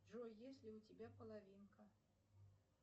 джой есть ли у тебя половинка